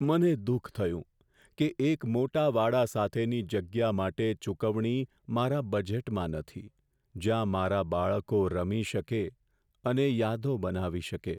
મને દુઃખ થયું કે એક મોટા વાડા સાથેની જગ્યા માટે ચૂકવણી મારા બજેટમાં નથી, જ્યાં મારા બાળકો રમી શકે અને યાદો બનાવી શકે.